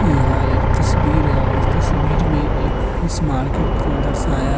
यह एक तस्वीर है और इस तस्वीर में एक फिश मार्केट को दर्शाया --